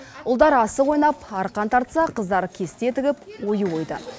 ұлдар асық ойнап арқан тартса қыздар кесте тігіп ою ойды